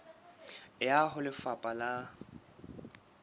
e ya ho lefapha la